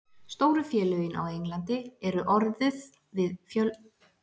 Stóru félögin á Englandi eru orðið við fjölmarga leikmenn.